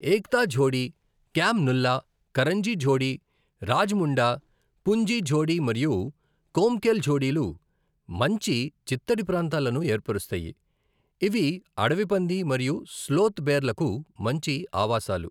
ఏక్తా ఝోడీ, క్యామ్ నుల్లా, కరంజీ ఝోడీ, రాజముండా, పుంజీ ఝోడీ మరియు కొమ్కెల్ ఝోడీలు మంచి చిత్తడి ప్రాంతాలను ఏర్పరుస్తాయి, ఇవి అడవి పంది మరియు స్లోత్ బేర్లకు మంచి ఆవాసాలు.